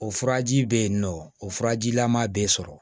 O furaji bɛ yen nɔ o furajilama bɛ sɔrɔ